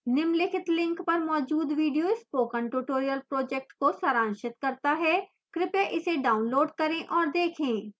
निम्नलिखित link पर मौजूद video spoken tutorial project को सारांशित करता है कृपया इसे डाउनलोड करें और देखें